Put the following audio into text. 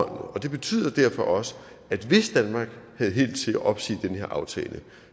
og det betyder derfor også at hvis danmark havde held til at opsige den her aftale